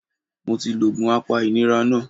Mo ti lo òògùn apa ìnira náà